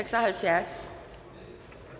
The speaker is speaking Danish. vi